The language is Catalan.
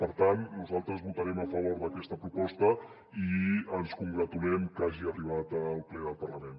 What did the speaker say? per tant nosaltres votarem a favor d’aquesta proposta i ens congratulem que hagi arribat al ple del parlament